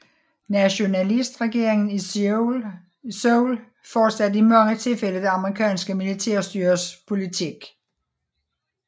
Nationalistregeringen i Seoul fortsatte i mange tilfælde det amerikanske militærstyres politik